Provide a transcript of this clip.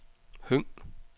Høng